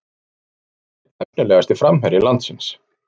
Hún er einn efnilegasti framherji landsins